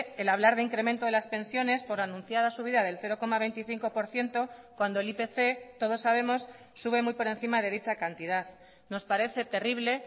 el hablar de incremento de las pensiones por anunciada subida del cero coma veinticinco por ciento cuando el ipc todos sabemos sube muy por encima de dicha cantidad nos parece terrible